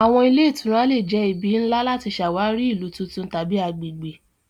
Awọn ile itura le jẹ ibi nla lati ṣawari ilu tuntun tabi agbegbe.